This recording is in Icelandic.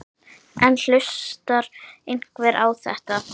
En hlustar einhver á þetta?